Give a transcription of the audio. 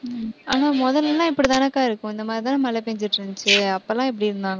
உம் ஆனா முதல்ல எல்லாம் இப்படித்தானக்கா இருக்கும் இந்த மாதிரி தான மழை பெய்ஞ்சிட்டு இருந்துச்சு அப்ப எல்லாம் எப்படி இருந்தாங்க